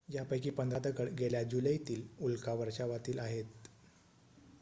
यापैकी पंधरा दगड गेल्या जुलैतील उल्का वर्षावातील आहेत